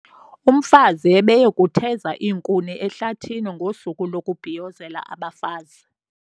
Umfazi ebeye kutheza iinkuni ehlathini ngosuku lokubhiyozela abafazi.